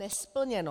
Nesplněno.